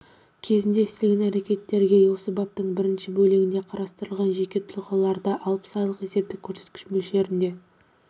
кезеңінде істелген әрекеттерге осы бабтың бірінші бөлігінде қарастырылған жеке тұлғаларды алпыс айлық есептік көрсеткіш мөлшерінде